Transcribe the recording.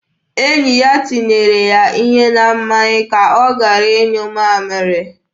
Enyi ya tinyere ya ihe na mmanya ka ọ gara ịnyụ mamịrị.